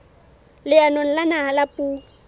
leanong la naha la puo